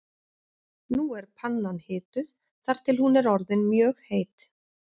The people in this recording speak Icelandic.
Nú er pannan hituð þar til hún er orðin mjög heit.